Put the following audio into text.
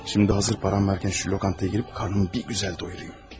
Şimdi hazır param varkən şu lokantaya girib karnımı bir gözəl doyurayım.